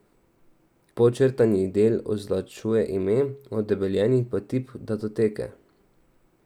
Podčrtani del označuje ime, odebeljeni pa tip datoteke.